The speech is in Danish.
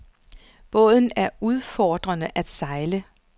Båden er udfordrende at sejle.